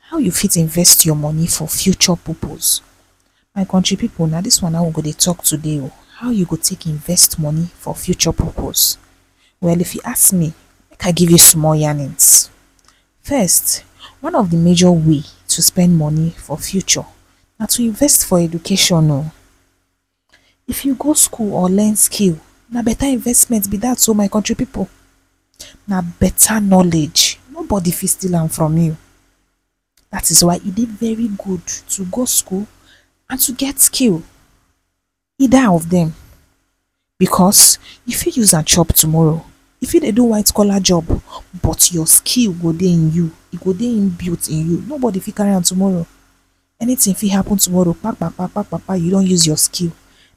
How you fit invest your money for future purpose? My country people na this one na em we go dey talk today oh. How you go talk invest money for future purpose? Well, if you ask me ma give you small yarnnings. First one of the major way to spend money for future, na to invest for education oh. If you go school or learn skill, na better investment be that or my country people na beta knowledge nobody feet steal am from you, dat is why e dey very good to go school and to get skill, either of them. Because you feet use am chop tomorrow, you feet dey do white collar job but your skill go dey in you, e go dey inbuilt in you, no body feet carry am tomorrow, anything feet happen tomorrow pa-pa-pa pa-pa-pa you don use your skill